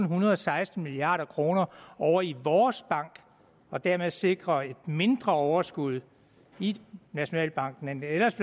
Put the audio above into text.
hundrede og seksten milliard kroner ovre i vores bank og dermed sikre et mindre overskud i nationalbanken end det ellers